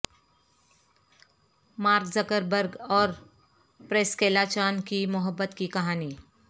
mark Zuckerberg اور Priscilla Chan کی محبت کی کہانی